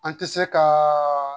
An tɛ se ka